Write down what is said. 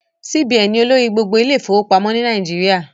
CBN ni olórí gbogbo ilé ìfọwọ́pamọ́ ni Nàìjíríà